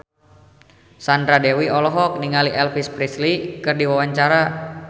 Sandra Dewi olohok ningali Elvis Presley keur diwawancara